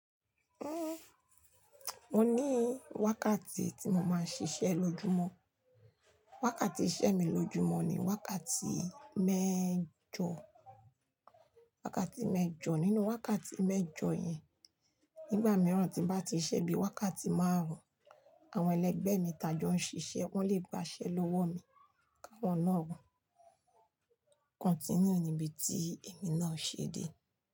Uhm, o ní wákàtí tí mo máa ń ṣiṣẹ́ lójúmọ́. Wákàtí iṣẹ́ mi lójúmọ́ ni wákàtí mẹ́jọ, wákàtí mẹ́jọ. Nínú wákàtí mẹ́jọ yẹn, nígbà mìíràn tí bá ti ṣẹ́ bí i wákàtí márùn-ún, àwọn ẹlẹgbẹ́ mi tà á jọ ń ṣiṣẹ́, wọ́n lè gbáṣẹ́ lówó mi, ki áwọ́n náà wò, continue níbi tí èmi náà ṣe dé.